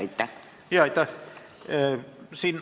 Aitäh!